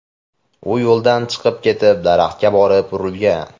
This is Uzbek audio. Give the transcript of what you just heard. U yo‘ldan chiqib ketib, daraxtga borib urilgan.